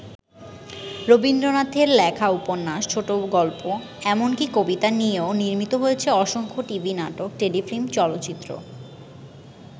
রবীন্দ্রনাথের লেখা উপন্যাস, ছোটগল্প এমনকি কবিতা নিয়েও নির্মিত হয়েছে অসংখ্য টিভি নাটক, টেলিফিল্ম, চলচ্চিত্র।